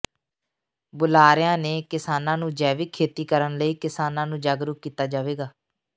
ਬੁਲਾਰਿਆਂ ਨੇ ਕਿਸਾਨਾਂ ਨੂੰ ਜੈਵਿਕ ਖੇਤੀ ਕਰਨ ਲਈ ਕਿਸਾਨਾਂ ਨੂੰ ਜਾਗਰੂਕ ਕੀਤਾ ਜਾਵੇਗਾ